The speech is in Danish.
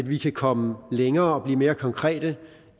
vi kan komme længere og blive mere konkrete